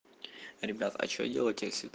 ребята а что делать если